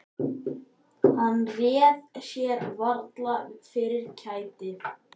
Hann réði sér varla fyrir kæti.